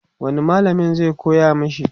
wani mallamin zai koya mashi?